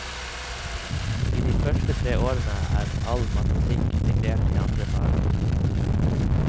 I de første tre årene er all matematikken integrert i andre fag.